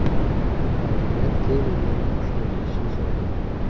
Hokimiyat Kevindan qushni tutishni so‘ragan.